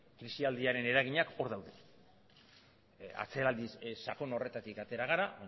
krisialdiaren eraginak hor daude atzeraldi sakon horretatik atera gara